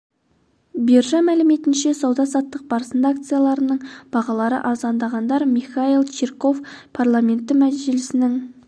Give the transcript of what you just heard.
биржа мәліметінше сауда-саттық барысында акцияларының бағалары арзандағандар михаил чирков парламенті мәжілісінің